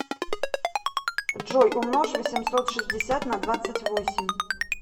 джой умножь восемьсот шестьдесят на двадцать восемь